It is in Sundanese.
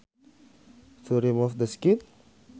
To remove the skin